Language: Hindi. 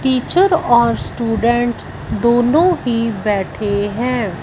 टीचर और स्टूडेंट्स दोनों ही बैठे हैं।